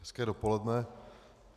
Hezké dopoledne.